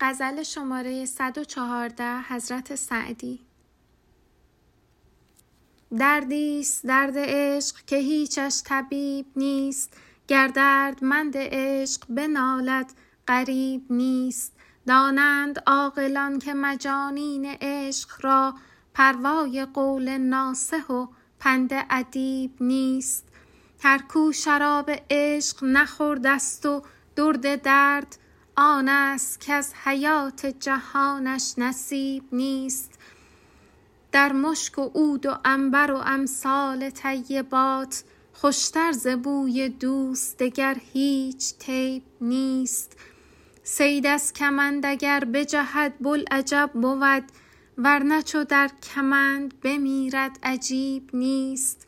دردی ست درد عشق که هیچش طبیب نیست گر دردمند عشق بنالد غریب نیست دانند عاقلان که مجانین عشق را پروای قول ناصح و پند ادیب نیست هر کو شراب عشق نخورده ست و درد درد آن ست کز حیات جهانش نصیب نیست در مشک و عود و عنبر و امثال طیبات خوش تر ز بوی دوست دگر هیچ طیب نیست صید از کمند اگر بجهد بوالعجب بود ور نه چو در کمند بمیرد عجیب نیست